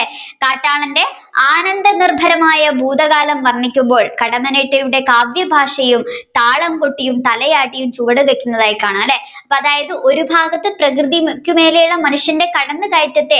കാട്ടാളന്റെ ആനന്ദനിര്ഭരമായ ഭൂതകാലത്തെ വര്ണിക്കുമ്പോൾ കടമ്മനിട്ടയുടെ കാവ്യ ഭാഷയും താളംകൊട്ടിയും തലയാട്ടിയും ചുവടുവെക്കുന്നത് കാണാം അല്ലെ അപ്പൊ അതായത് ഒരു ഭാഗത്തു പ്രകൃതി മറ്റുമേളയുള്ള മനുഷ്യന്റെ കടന്നുകയറ്റത്തെ